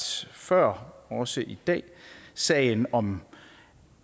før også i dag sagen om